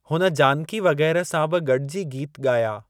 हुन जानकी वग़ैरह सां बि गॾिजी गीत ॻाया।